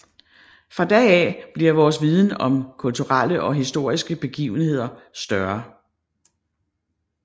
Fra da af bliver vores viden om kulturelle og historiske begivenheder større